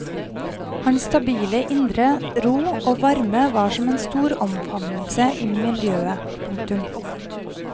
Hans stabile indre ro og varme var som en stor omfavnelse i miljøet. punktum